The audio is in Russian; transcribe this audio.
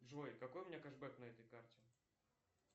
джой какой у меня кешбек на этой карте